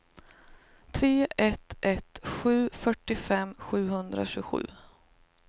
tre ett ett sju fyrtiofem sjuhundratjugosju